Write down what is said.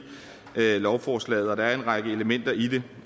lovforslaget og der er en række elementer i det